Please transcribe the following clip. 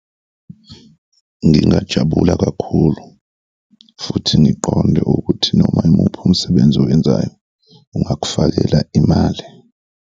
Ngingajabula kakhulu futhi ngiqonde ukuthi noma imuphi umsebenzi owenzayo ungakufakela imali.